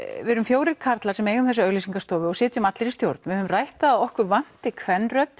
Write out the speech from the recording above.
við erum fjórir karlar sem eigum þessa auglýsingastofu og sitjum allir í stjórn við höfum rætt það að okkur vanti